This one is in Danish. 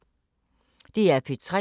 DR P3